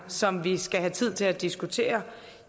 som vi skal have tid til at diskutere